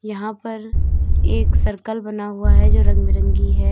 यहां पर एक सर्कल बना हुआ है जो रंग बिरंगी है।